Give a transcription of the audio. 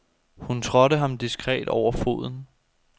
Hun trådte ham diskret over foden.